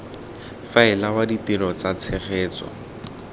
faela wa ditiro tsa tshegetso